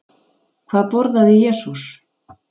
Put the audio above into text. Hvað borðaði Jesús?